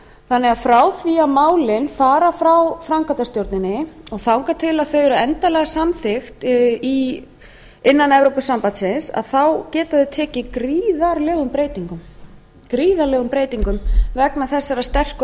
þannig að frá því að málin fara frá framkvæmdastjónrinni og þangað til þau eru endanlega samþykkt innan evrópusambandsins geta þau tekið gríðarlegum breytingum vegna þessara sterku